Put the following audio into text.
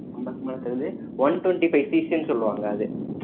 அம்பதுக்கு மேல தருது one twenty five CC ன்னு சொல்லுவாங்க அது